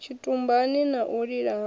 tshitumbani na u lila ha